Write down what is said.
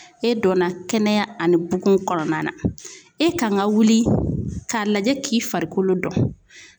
E donna kɛnɛya ani bugun kɔnɔna na e kan ka wuli k'a lajɛ k'i farikolo dɔn.